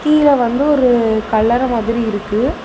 கீழ வந்து ஒரு கல்லற மாதிரி இருக்கு.